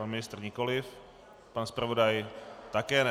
Pan ministr nikoliv, pan zpravodaj také ne.